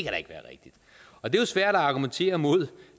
er jo svært at argumentere imod